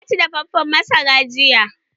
Na ci dafaffen masara jiya.